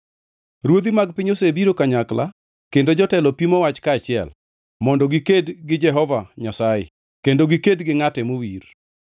Ruodhi mag piny osebiro kanyakla kendo jotelo pimo wach kaachiel, mondo giked gi Jehova Nyasaye kendo giked gi ngʼate mowir.